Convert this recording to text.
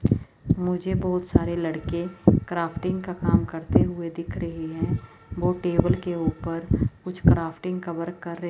मुझे बहुत सारे लड़के क्राफ्टिंग का काम करते हुए दिख रहे है। वो टेबल के उपर कुछ क्राफ्टिंग का वर्क कर रहे--